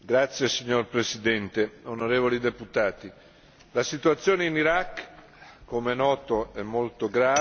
Signor Presidente, onorevoli deputati, la situazione in Iraq come è noto è molto grave.